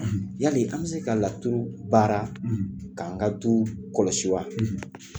Yali an bi se ka laturu baara k'an ka du kɔlɔsi wa?